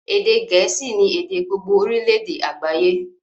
Èdè gẹ̀ẹ́sì ni èdè gbogbogbo orílédé àgbáyé